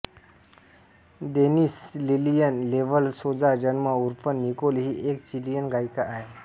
Denis Lillian Laval Soza जन्म उर्फ Nicole ही एक चिलीयन गायिका आहे